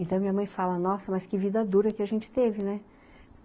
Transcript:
Então minha mãe fala, nossa, mas que vida dura que a gente teve, né?